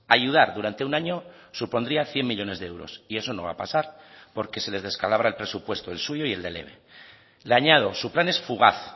ayudar durante un año supondría cien millónes de euros y eso no va a pasar porque se les descalabra el presupuesto el suyo y el del eve le añado su plan es fugaz